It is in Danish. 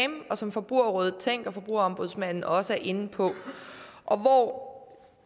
som forbrugerrådet tænk og forbrugerombudsmanden også er inde på og hvor